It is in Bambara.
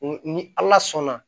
Ni ala sɔnna